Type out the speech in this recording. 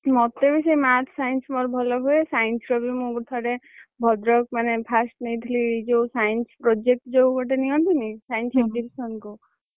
ମତେ ବି ସେଇ Math, Science ମୋର ଭଲ ହୁଏ, Science ର ବି ମୁଁ ଥରେ ଭଦ୍ରକ ମାନେ fast ନେଇଥିଲି ଯୋଉ Science project ଯୋଉ ଗୋଟେ ନିଅନ୍ତିନି Science କୁ।